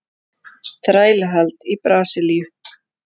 Þrælahald í Brasilíu.